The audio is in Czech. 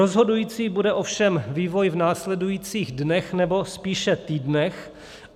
Rozhodující bude ovšem vývoj v následujících dnech, nebo spíše týdnech.